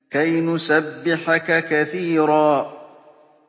كَيْ نُسَبِّحَكَ كَثِيرًا